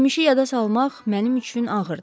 Keçmişi yada salmaq mənim üçün ağırdı.